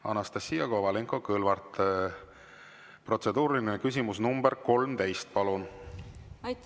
Anastassia Kovalenko-Kõlvart, protseduuriline küsimus nr 13, palun!